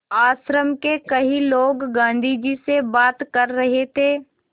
आश्रम के कई लोग गाँधी जी से बात कर रहे थे